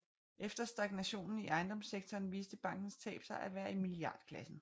Efter stagnationen i ejendomssektoren viste bankens tab sig at være i milliardklassen